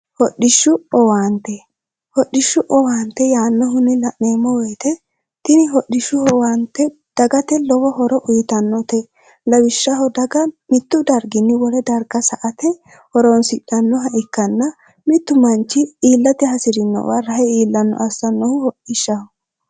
dswhodhishshu owaante yaannohunni la'neemmo woyite tini hodhishshu howaante dagate lowo horo uyitannote lawishshaho daga mittu darginni wole darka sa ate horoonsidhannoha ikkanna mittu manchi iillate hasi'rinowa rahe iillanno assannohu hodhishshaho